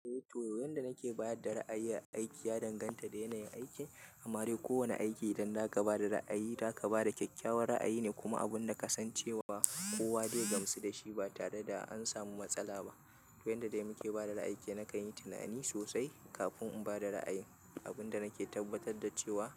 Eh, to. Wayanda nake bada ra'ayi aiki ya danganta da yanayin aiki. Amma dai kowane aiki idan zaka bada ra'ayi, za ka bada kyakkyawar ra'ayi ne kuma abun da ka san cewa kowa zai gamsu dashi ba tare da an samu matsala ba. To, yanda dai muke bada ra'ayi nakan yi tunani sosai kafin in bada ra'ayin. Abunda nake tabbatar da cewa